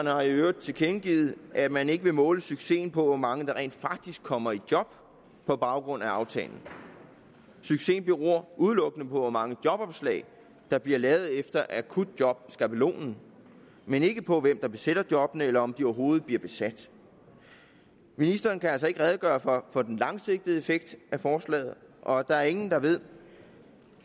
har i øvrigt tilkendegivet at man ikke vil måle succesen på hvor mange der rent faktisk kommer i job på baggrund af aftalen succesen beror udelukkende på hvor mange jobopslag der bliver lavet efter akutjobskabelonen men ikke på hvem der besætter jobbene eller om de overhovedet bliver besat ministeren kan altså ikke redegøre for for den langsigtede effekt af forslaget og der er ingen der ved